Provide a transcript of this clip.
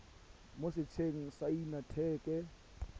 mo setsheng sa inthanete sa